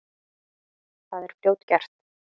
Það er fljótgert.